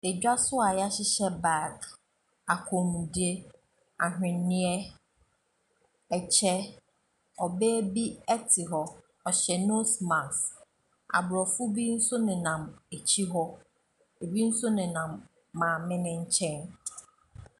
Dwa so a wɔahyehyɛ bag, kɔnmuadeɛ, ahweneɛ, ɛkyɛ. Ɔbaa bi te hɔ. Ɔhyɛ nose mask. Aborɔfo bi nso nenam akyire hɔ. Ɛbi nso nenam mame no nkyɛn.